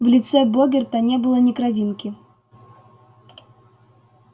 в лице богерта не было ни кровинки